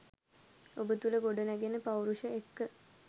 ඔබ තුළ ගොඩනැගෙන පෞරුෂය එක්ක